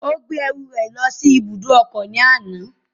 Ó gbé ẹrù lọ sí ibùdókọ̀ ní àná